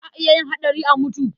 Za a iya yin haɗari a mutu.